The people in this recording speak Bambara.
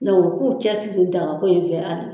Mɛ u k'u cɛ siri daga ko in fɛ hali bi.